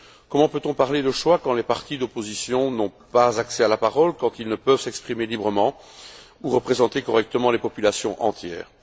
Comment peut on parler de choix quant les partis d'opposition n'ont pas accès à la parole, quand ils ne peuvent s'exprimer librement ou représenter correctement les populations entières?